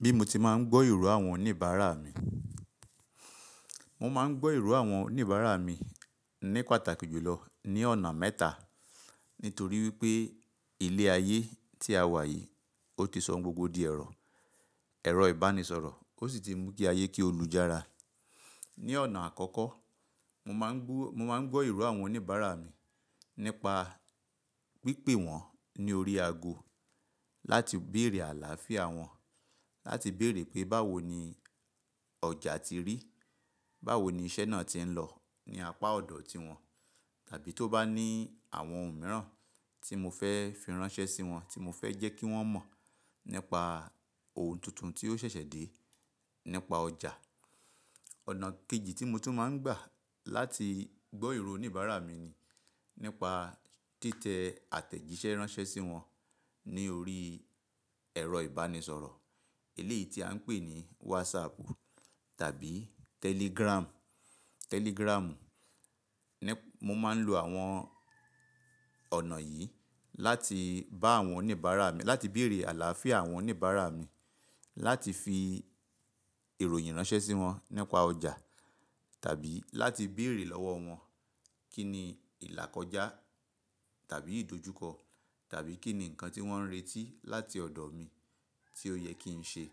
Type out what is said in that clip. Bí mo ti máa ń gbọ́ ìró àwọn oníbàárà mi. Mo máa ń gbọ́ ìró àwọn oníbàárà mi ní pàtàkì jùlọ ní ọ̀nà mẹ́ta nítorí wípé ilé ayé tí a wà yìí ó ti sọ gbogbo di ẹ̀rọ, ẹ̀rọ ìbánisọ̀rọ̀, ó sì ti mú kí ayé kí ó lújára. Ní ọ̀nà àkọ́kọ́, mo máa ń gbọ́ ìró àwọn oníbàárà mi nípa pípè wọ́n ní orí ago láti bèrè àlàáfíà wọn, láti bèrè pé báwo ni ọjà ti rí, báwo ni iṣẹ́ náà ti ń lọ ní apá ọ̀dọ̀ tí wọ́n, tàbí tó bá ní àwọn ohun mìíràn tí mo fẹ́ fi ránṣẹ́ sí wọn, tí mo fẹ́ jẹ́ kí wọ́n mọ̀ nípa ohun tuntun tí ó ṣẹ̀ṣẹ̀ dé nípa ọjà. Ọ̀nà kejì tí mo tún máa ń gbà láti gbọ́ ìró oníbàárà mi ni nípa títẹ àtẹ̀jíṣẹ́ ránṣẹ́ sí wọn ní orí ẹ̀rọ ìbánisọ̀rọ̀. Eléyìí tí à ń pè ní WhatsApp tàbí Telegram. Mo máa ń lo àwọn ọ̀nà yìí láti bá àwọn oníbàárà mi, láti bèrè àlàáfíà àwọn oníbàárà mi, láti fi ìròyìn ránṣẹ́ sí wọn nípa ọjà tàbí láti bèrè lọ́wọ́ wọn kíni ìlà kọjá tàbí ìdojúkọ tàbí kíni nǹkan tí wọ́n ń retí láti ọ̀dọ̀ mi tí ó yẹ kí n ṣe.